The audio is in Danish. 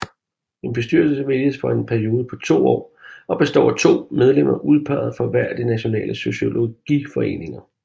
En bestyrelse vælges for en periode på to år består af to medlemmer udpeget fra hver af de nationale sociologiforeninger